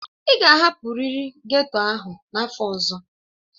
Ị ga-ahapụrịrị ghetto ahụ n'afọ ọzọ!